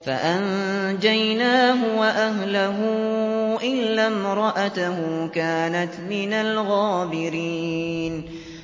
فَأَنجَيْنَاهُ وَأَهْلَهُ إِلَّا امْرَأَتَهُ كَانَتْ مِنَ الْغَابِرِينَ